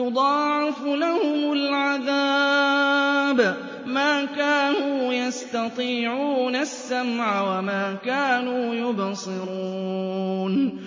يُضَاعَفُ لَهُمُ الْعَذَابُ ۚ مَا كَانُوا يَسْتَطِيعُونَ السَّمْعَ وَمَا كَانُوا يُبْصِرُونَ